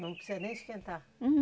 Não precisa nem esquentar?